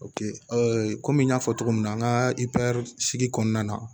kɔmi n y'a fɔ cogo min na an ka sigi kɔnɔna na